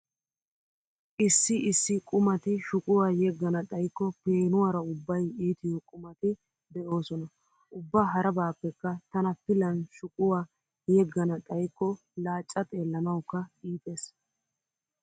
Issi issi qumati shuquwaa yeggana xayikko peenuwaara ubbay iitiyo qumati de'oosona. Ubba harabaappekka tana pilan shuquwaa yeggana xayikko laacca xeellanawukka iitees.